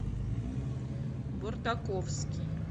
бортаковский